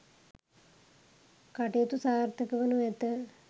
කටයුතු සාර්ථක වනු ඇත